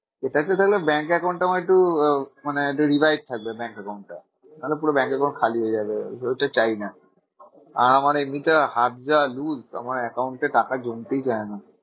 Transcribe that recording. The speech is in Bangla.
সেটাতে তাহলে ব্যাঙ্ক account টা আমার একটু আহ মানে একটু revive থাকবে ব্যাঙ্ক account টা। নাহলে পুরো ব্যাঙ্ক account খালি হয়ে যাবে ওইটা চাইনা না। আর আমার এমনিতে হাত যা loose আমার account এ টাকা জমতেই চায় না।